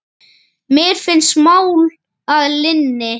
Mér finnst mál að linni.